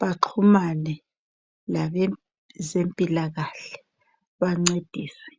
baxhumane labezempilakahle babancedise.